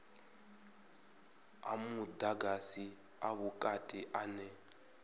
a mudagasi a vhukati ane